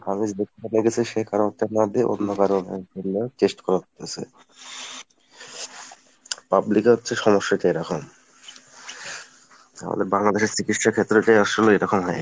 always দেখবে আপনার কাছে অন্য কারো test করতেছে, public এ হচ্ছে সমস্যা এরকম। আমাদের বাংলাদেশের চিকিৎসা ক্ষেত্রটাই আসলে এরকম হয়ে গেছে